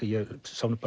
ég sá